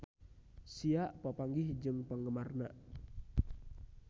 Sia papanggih jeung penggemarna